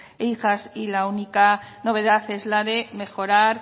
e hijas y la única novedad es la de mejorar